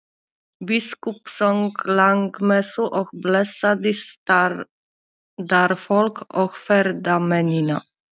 Biskup söng lágmessu og blessaði staðarfólk og ferðamennina.